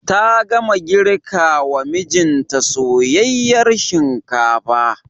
Ta gama girkawa mijinta soyayyar shinkafa.